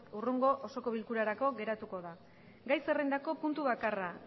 hurrengo osoko bilkurarako geratuko da gai zerrendako puntu bakarra